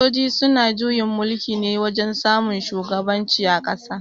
Sojoji suna juyin mulki ne wajen samun shugaban ci a ƙasa